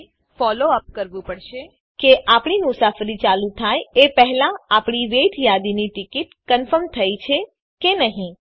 જે આપણને follow up કરવું પડશે કે આપણી મુસાફરી ચાલુ થાય એ પહેલા આપણી વેઇટ યાદીની ટીકીટ કન્ફર્મ થઇ છે કે નહી